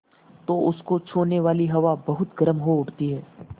तो उसको छूने वाली हवा बहुत गर्म हो उठती है